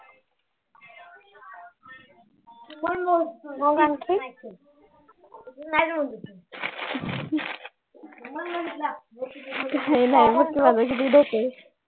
काही नाही